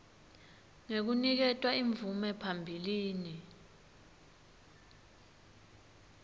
ngekuniketwa imvume phambilini